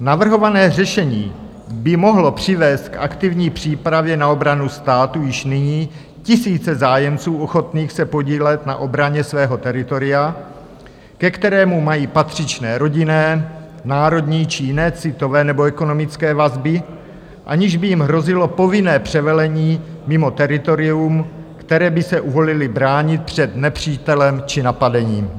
Navrhované řešení by mohlo přivést k aktivní přípravě na obranu státu již nyní tisíce zájemců ochotných se podílet na obraně svého teritoria, ke kterému mají patřičné rodinné, národní či jiné citové nebo ekonomické vazby, aniž by jim hrozilo povinné převelení mimo teritorium, které by se uvolili bránit před nepřítelem či napadením.